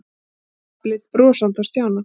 Pabbi leit brosandi á Stjána.